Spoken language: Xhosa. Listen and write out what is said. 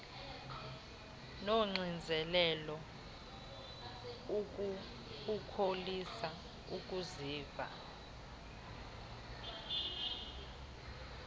unoxinzelelo ukholisa ukuziva